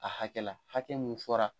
A hakɛ la, hakɛ mun fɔra.